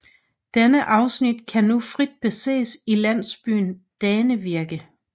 Denne afsnit kan nu frit beses i landsbyen Dannevirke